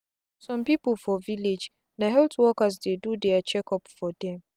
some people for villagena health workers dey do their check up for them.